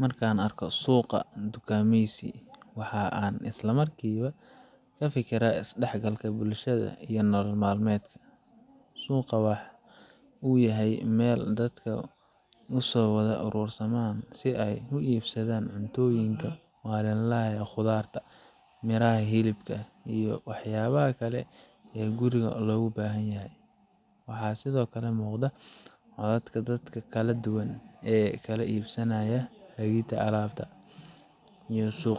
Markan arko suqa ,dhukameysi Suuqa khudradda waa meel aad muhiim ugu ah nolosha bulsho kasta, gaar ahaan dalalka ay beeralaydu tiro badan yihiin sida Kenya, Soomaaliya, iyo wadamada kale ee bariga Afrika. Suuqani wuxuu yahay halka ay ku kulmaan beeraleyda, ganacsatada, iyo macaamiishu si loo kala iibsado khudrado cusub